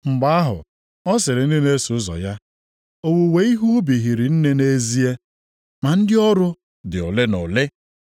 Mgbe ahụ, ọ sịrị ndị na-eso ụzọ ya, “Owuwe ihe ubi hiri nne nʼezie. Ma ndị ọrụ dị ole na ole.